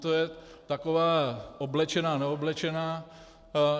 To je taková oblečená neoblečená.